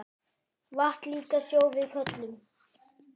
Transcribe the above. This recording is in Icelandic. Vatn líka sjó við köllum.